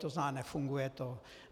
To znamená nefunguje to.